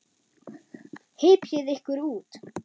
Hypjið ykkur út.